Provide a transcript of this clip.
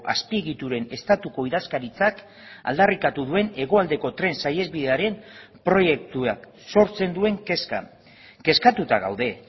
azpiegituren estatuko idazkaritzak aldarrikatu duen hegoaldeko tren saihesbidearen proiektuak sortzen duen kezka kezkatuta gaude